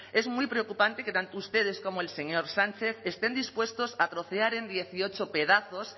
es muy preocupante que tanto ustedes como el señor sánchez estén dispuestos a trocear en dieciocho pedazos